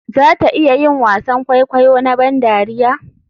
Za ta iya yin wasan kwaikwayo na ban dariya?